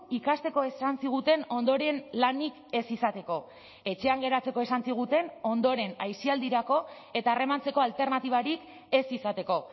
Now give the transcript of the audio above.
ikasteko esan ziguten ondoren lanik ez izateko etxean geratzeko esan ziguten ondoren aisialdirako eta harremantzeko alternatibarik ez izateko